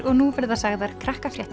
og nú verða sagðar